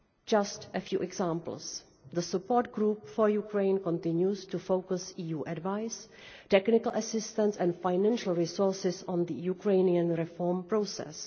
Just a few examples the Support Group for Ukraine continues to focus EU advice, technical assistance and financial resources on the Ukrainian reform process